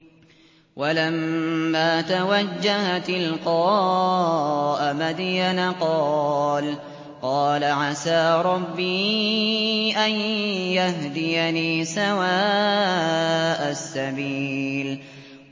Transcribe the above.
وَلَمَّا تَوَجَّهَ تِلْقَاءَ مَدْيَنَ قَالَ عَسَىٰ رَبِّي أَن يَهْدِيَنِي سَوَاءَ السَّبِيلِ